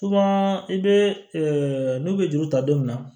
i bɛ n'u bɛ juru ta don min na